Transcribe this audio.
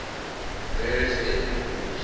various ethnic groups